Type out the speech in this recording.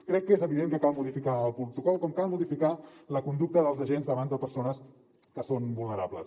crec que és evident que cal modificar el protocol com cal modificar la conducta dels agents davant de persones que són vulnerables